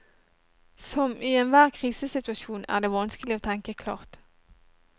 Som i enhver krisesituasjon er det vanskelig å tenke klart.